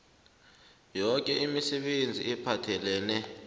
yoke imisebenzi ephathelene